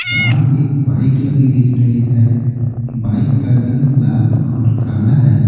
बाहर एक बाइक लगी दिख रही है बाइक का रंग लाल और काला है।